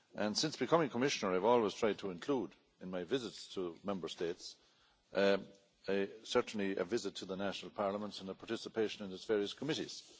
Since becoming Commissioner I've always tried to include in my visits to Member States a visit to the national parliaments and a participation in its various committees.